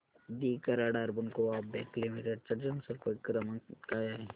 दि Karad urban co-op bank limited चा जनसंपर्क क्रमांक काय आहे